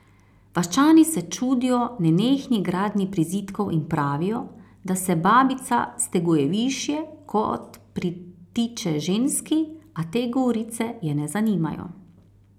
Vaščani se čudijo nenehni gradnji prizidkov in pravijo, da se babica steguje višje, kot pritiče ženski, a te govorice je ne zanimajo.